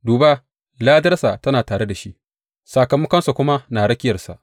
Duba, ladarsa tana tare da shi, sakamakonsa kuma na rakiyarsa.